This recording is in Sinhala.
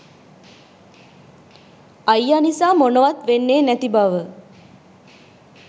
අයිය නිසා මොනවත් වෙන්නේ නැති බව